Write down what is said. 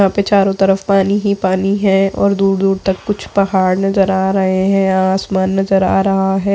यहाँ पर चारों तरफ पानी ही पानी है और दूर-दूर तक कुछ पहाड़ नज़र आ रहे हैं आसमान नज़र आ रहा है।